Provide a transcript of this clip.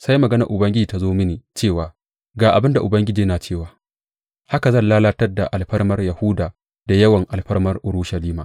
Sai maganar Ubangiji ta zo mini cewa, Ga abin da Ubangiji yana cewa, Haka zan lalatar da alfarmar Yahuda da yawan alfarmar Urushalima.